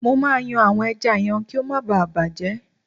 Mo máa yan àwọn ẹja yẹn kí ó má ba à bàjẹ́.